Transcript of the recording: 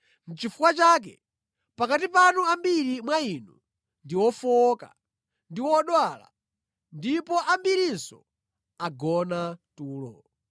Nʼchifukwa chake pakati panu ambiri mwa inu ndi ofowoka ndi odwala, ndipo ambirinso agona tulo.